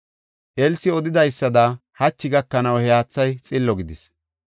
Elsi odidaysada hachi gakanaw, he haathay xillo gidis.